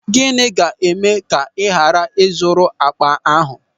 Gịnị ga-eme ka ị ghara ị zụrụ akpa ahụ?